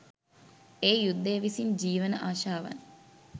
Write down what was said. එය යුද්ධය විසින් ජීවන අශාවන්